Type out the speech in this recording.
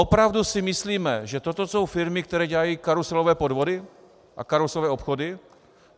Opravdu si myslíme, že toto jsou firmy, které dělají karuselové podvody a karuselové obchody?